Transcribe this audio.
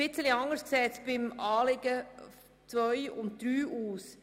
Etwas anders sieht es bei den Punkten 2 und 3 aus.